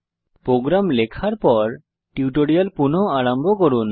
programme লেখার পর tutorial পুনঃ আরম্ভ করুন